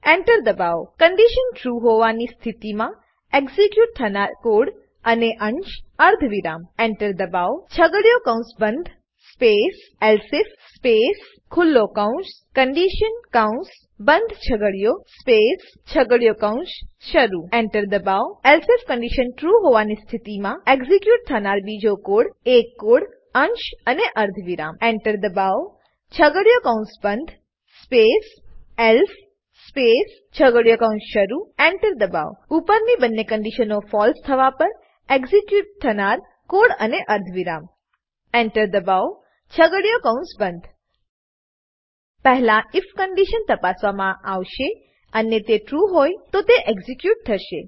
Enter દબાવો condition true true હોવાની સ્થિતિમાં એક્ઝીક્યુટ થનાર કોડ અંશ અને અર્ધવિરામ Enter દબાવો છગડીયો કૌંસ બંધ સ્પેસ એલ્સિફ સ્પેસ ખુલ્લો કૌંસ કન્ડિશન કૌંસ બંધ સ્પેસ છગડીયો કૌંસ શરૂ Enter દબાવો એલ્સિફ કંડીશન ટ્રુ રહેવાની સ્થિતિમાં એક્ઝીક્યુટ થનાર બીજો એક કોડ અંશ અને અર્ધવિરામ Enter દબાવો છગડીયો કૌંસ બંધ સ્પેસ એલ્સે સ્પેસ છગડીયો કૌંસ શરૂ Enter ઉપરની બંને કંડીશનો ફળસે ફોલ્સ થવા પર એક્ઝીક્યુટ થનાર કોડ અને અર્ધવિરામ Enter દબાવો છગડીયો કૌંસ બંધ પહેલા આઇએફ કંડીશન તપાસવામાં આવશે અને તે ટ્રુ હોય તો તે એક્ઝીક્યુટ થશે